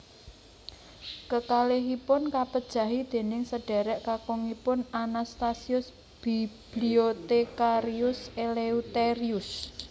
Kekalihipun kapejahi déning sedhérék kakungipun Anastasius Bibliothecarius Eleutherius